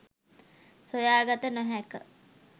සොයා ගත නොහෑක